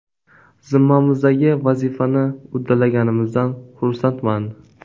Zimmamizdagi vazifani uddalaganimizdan xursandman”.